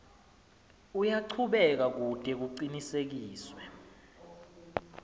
uyachubeka kute kucinisekiswe